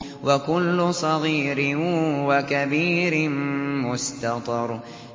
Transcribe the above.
وَكُلُّ صَغِيرٍ وَكَبِيرٍ مُّسْتَطَرٌ